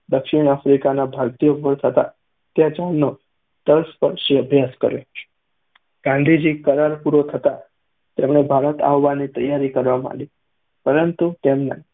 દક્ષિણ આફ્રિકામાં ભારતીયો પર થતા અત્યાચારનો તલસ્પર્શી અભ્યાસ કર્યો. ગાંધીજી કરાર પૂરો થતાં તેમણે ભારત આવવાની તૈયારી કરવા માંડી, પરંતુ તેમના